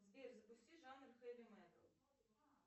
сбер запусти жанр хэви метал